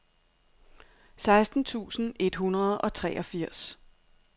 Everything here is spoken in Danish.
seksten tusind et hundrede og treogfirs